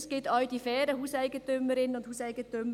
Es gibt auch faire Eigentümerinnen und Eigentümer.